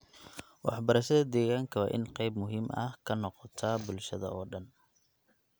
Waxbarashada deegaanka waa in ay qayb muhiim ah ka noqotaa bulshada oo dhan.